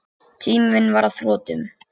Tíminn var á þrotum.